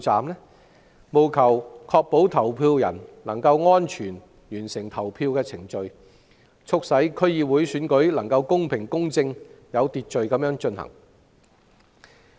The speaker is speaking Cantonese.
希望政府能確保投票人安全完成投票程序，促使區議會選舉能夠公平、公正、有秩序地進行。